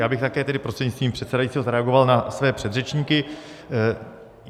Já bych také tedy prostřednictvím předsedajícího zareagoval na své předřečníky.